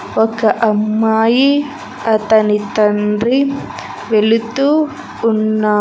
ఒక అమ్మాయి అతని తండ్రి వెళుతూ ఉన్నా--